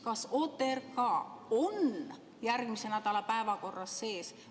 Kas OTRK on järgmise nädala päevakorras sees?